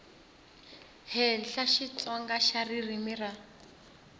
henhla xitsonga xa ririmi ra